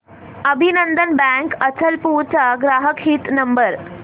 अभिनंदन बँक अचलपूर चा ग्राहक हित नंबर